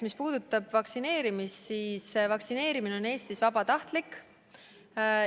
Mis puudutab vaktsineerimist, siis vaktsineerimine on Eestis vabatahtlik.